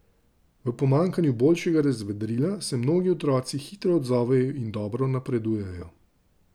V pomanjkanju boljšega razvedrila, se mnogi otroci hitro odzovejo in dobro napredujejo.